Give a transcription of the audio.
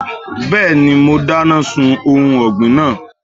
Bẹ́ẹ̀ni, mo dáná sun ohun ọ̀gbìn náà.